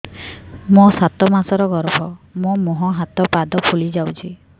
ମୋ ସାତ ମାସର ଗର୍ଭ ମୋ ମୁହଁ ହାତ ପାଦ ଫୁଲି ଯାଉଛି